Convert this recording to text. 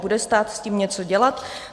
Bude stát s tím něco dělat?